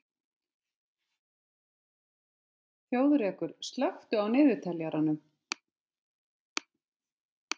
Þjóðrekur, slökktu á niðurteljaranum.